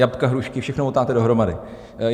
Jabka, hrušky, všechno motáte dohromady.